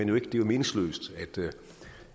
jo meningsløst